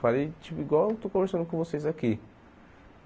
Falei, tipo, igual eu estou conversando com vocês aqui.